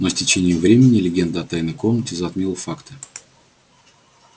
но с течением времени легенда о тайной комнате затмила факты